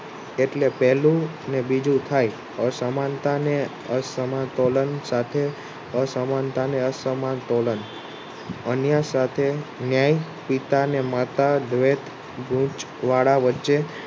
એટલે પહેલું ને બીજું થાય અસમાનતા ને અસમતોલન સાથે અસમાનતાને અન્ય સાથે ન્યાય પિતાને માતા ગુચ વાળા વચ્ચે